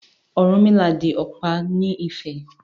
Ọ̀rúnmìlà di ọ̀pá ní Ifẹ̀.